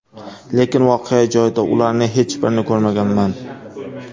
Lekin voqea joyida ularning hech birini ko‘rmaganman.